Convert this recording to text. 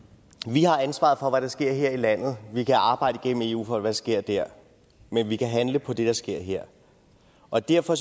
vi har ansvaret for hvad der sker her i landet vi kan arbejde igennem eu for hvad der sker der men vi kan handle på det der sker her og derfor